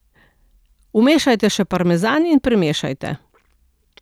Umešajte še parmezan in premešajte.